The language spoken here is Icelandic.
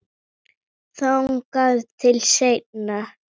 Þangað til seinna.